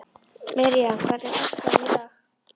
Miriam, hvernig er dagskráin í dag?